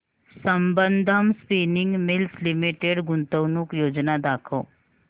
Sambandam spinning mills limited गुंतवणूक योजना दाखव